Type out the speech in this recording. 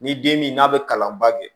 Ni den min n'a bɛ kalan ban kɛ